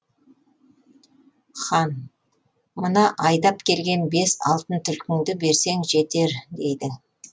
хан мына айдап келген бес алтын түлкіңді берсең жетер дейді